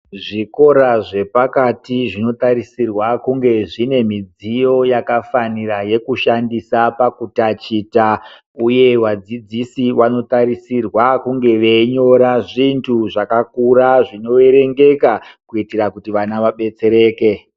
Zvikora zvepakati zvinotarisirwa kunge zvine midziyo yakafanira yekushandisa pakutachita, uye vadzidzisi vanotarisira kunge veinyora zvintu zvakakura zvinoerengeka. Kuitira kuti vana vabetsereke.